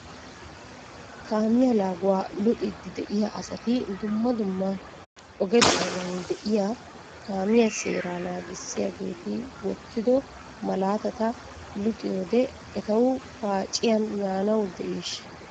Kaamiyaa laaguwaa luxiidi de'iyaa asati dumma dumma oge doona de'iyaa kaamiyaa seeraa naagissiyaageeti wottido malaatata luxitidoogee etaw paacciyan yaanaw diishsha?